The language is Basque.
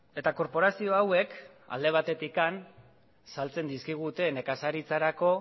eta korporazio hauek alde batetik saltzen dizkigute nekazaritzarako